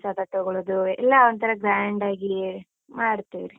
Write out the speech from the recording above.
ಪ್ರಸಾದ ತಗೋಳುದೂ, ಎಲ್ಲ ಒಂತರ grand ಆಗಿ ಮಾಡ್ತಿವ್ರಿ.